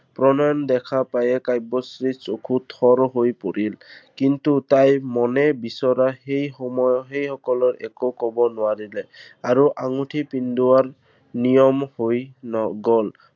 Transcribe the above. প্ৰণয়ন দেখা পায়েই কাব্যশ্ৰীৰ চকু থৰ হৈ পৰিল। কিন্তু তাই মনে বিচৰা সেই সময়ত সেই সকলক একো কব নোৱাৰিলে। আৰু আঙুঠি পিন্ধোৱা নিয়ম হৈ গল।